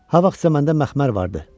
Ha vaxtsa məndə məxmər vardı.